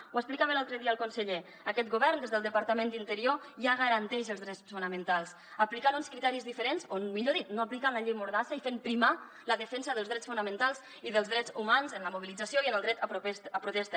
ho explicava l’altre dia el conseller aquest govern des del departament d’interior ja garanteix els drets fonamentals aplicant uns criteris diferents o millor dit no aplicant la llei mordassa i fent primar la defensa dels drets fonamentals i dels drets humans en la mobilització i en el dret a protesta